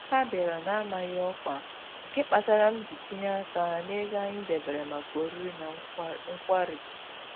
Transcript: Ha bịara na-amaghị ọkwa, nke kpatara m ji tinye aka n'ego anyị debere maka oriri na nkwari